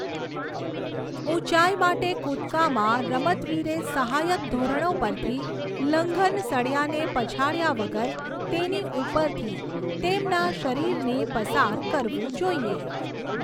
ઊંચાઈ માટે કૂદકામાં, રમતવીરે સહાયક ધોરણો પરથી લંઘન સળિયાને પછાડ્યા વગર તેની ઉપરથી તેમના શરીરને પસાર કરવું જોઈએ.